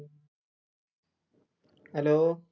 hello